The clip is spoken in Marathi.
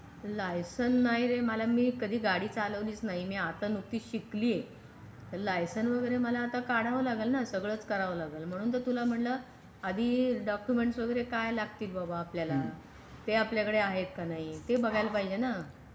लायसन नाही रे मला मी कधी गाडी चालवलीच नाही मी आता नव्हती शिकली लायसन वगैरे मला आता काढावा लागेल ना सगळच करावा लागेल म्हणून तर तुला म्हणलं आधी डॉक्युमेंट्स वगैरे काय लागतील बाबा आपल्याला ते आपल्याकडे आहेत का नाही ते बघायला पाहिजे ना.